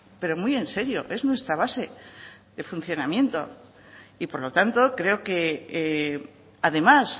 pero muy en serio es nuestra base de funcionamiento y por lo tanto creo que además